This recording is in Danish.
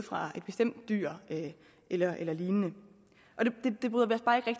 fra et bestemt dyr eller eller lignende